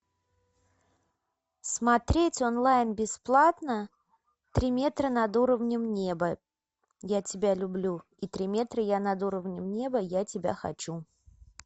смотреть онлайн бесплатно три метра над уровнем неба я тебя люблю и три метра я над уровнем неба я тебя хочу